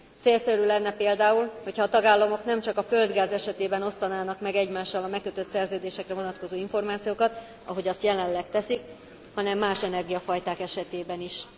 Célszerű lenne például, hogyha a tagállamok nem csak a földgáz esetében osztanának meg egymással a megkötött szerződésekre vonatkozó információkat, ahogy azt jelenleg teszik, hanem más energiafajták esetében is.